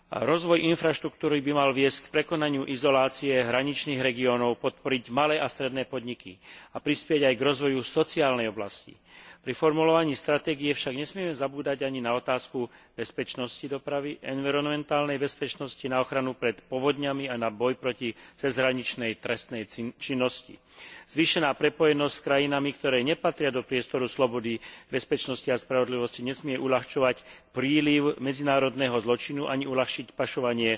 Rozvoj infraštruktúry by mal viesť k prekonaniu izolácie hraničných regiónov, podporiť malé a stredné podniky a prispieť aj k rozvoju sociálnej oblasti. Pri formulovaní stratégie však nesmieme zabúdať ani na otázku bezpečnosti dopravy, environmentálnej bezpečnosti na ochranu pred povodňami a na boj proti cezhraničnej trestnej činnosti. Zvýšená prepojenosť s krajinami, ktoré nepatria do priestoru slobody, bezpečnosti a spravodlivosti, nesmie uľahčovať príliv medzinárodného zločinu, ani uľahčiť pašovanie